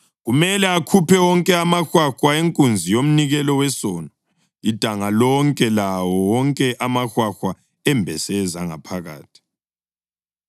Kumele akhuphe wonke amahwahwa enkunzi yomnikelo wesono, idanga lonke lawo wonke amahwahwa embese ezangaphakathi.